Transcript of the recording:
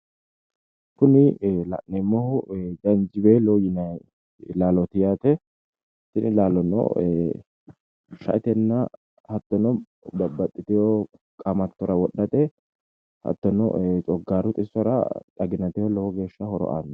Kuni la'neemmoh janjiweello yineemmo laaloti isino babbaxewore coomishate shaete bunaho hattono cogaru xibbirano horo aano